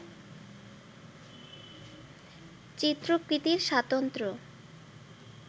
চিত্রকৃতির স্বাতন্ত্র্য